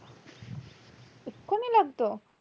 এক্ষুনি লাগতো